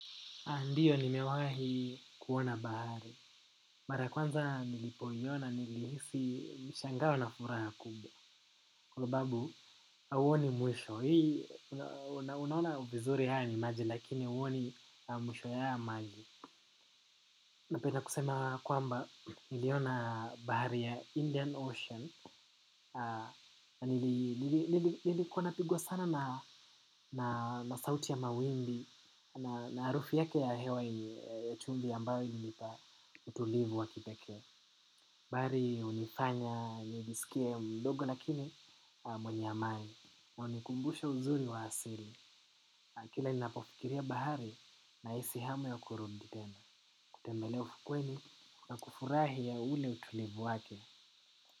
Ndiyo, nimewahi kuona bahari. Mara kwanza nilipoiona, nilihisi mshangao na furaha kubwa. Kwa sababu, hauoni mwisho. Hii, unaona vizuri haya ni maji, lakini huoni mwisho ya haya maji. Napenda kusema kwamba, niliona bahari ya Indian Ocean. Nilikua napigwa sana na sauti ya mawimbi, na harufu yake ya hewa ya chumvi ambayo ilinipa. Utulivu wakiteke. Bahari hunifanya, nijisikie mdogo lakini mwenye amani. Unikumbusha uzuri wa asili. Kila ninapofikiria bahari nahisi hamu ya kurudi tena. Kutembelea ufukweni na kufurahia ule utulivu wake.